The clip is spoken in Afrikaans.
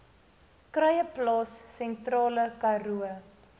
kruieplaas sentrale karoo